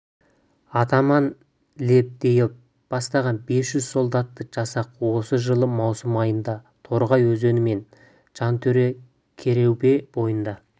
атаман лебедев бастаған бес жүз солдатты жасақ осы жылы маусым айында торғай өзені мен жәнтөре-керубе бойында